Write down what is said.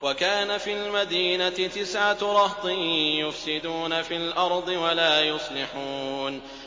وَكَانَ فِي الْمَدِينَةِ تِسْعَةُ رَهْطٍ يُفْسِدُونَ فِي الْأَرْضِ وَلَا يُصْلِحُونَ